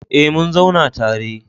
Eh mun zauna tare